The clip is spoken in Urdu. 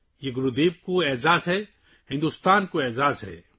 یہ گرودیو کا احترام ہے، ہندوستان کا احترام ہے